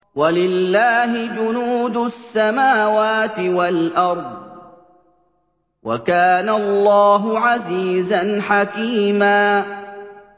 وَلِلَّهِ جُنُودُ السَّمَاوَاتِ وَالْأَرْضِ ۚ وَكَانَ اللَّهُ عَزِيزًا حَكِيمًا